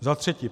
Za třetí.